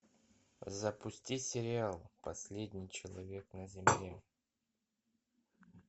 запусти сериал последний человек на земле